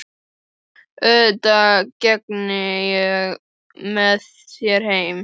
Auðvitað geng ég með þér heim